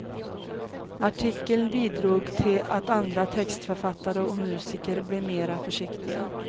Artikeln bidrog till att andra textförfattare och musiker blev mer försiktiga.